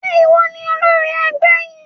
Ṣé ìwọ ni olórí ẹgbẹ́ yìí?